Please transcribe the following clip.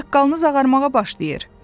Saqqalınız ağarmağa başlayır.